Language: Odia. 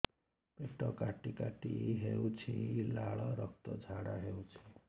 ପେଟ କାଟି କାଟି ହେଉଛି ଲାଳ ରକ୍ତ ଝାଡା ହେଉଛି